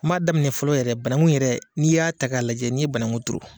N b'a daminɛ fɔlɔ yɛrɛ banaku yɛrɛ n'i y'a ta k'a lajɛ n'i ye banaku turu.